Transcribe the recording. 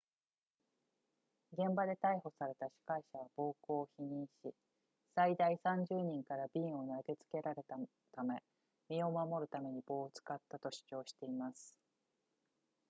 現場で逮捕された司会者は暴行を否認し最大30人から瓶を投げつけられたため身を守るために棒を使ったと主張しています